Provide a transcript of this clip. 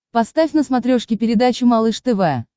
поставь на смотрешке передачу малыш тв